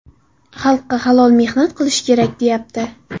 Xalqqa halol mehnat qilish kerak, deyapti.